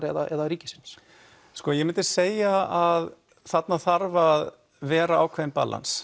eða ríkisins sko ég myndi segja að þarna þarf að vera ákveðið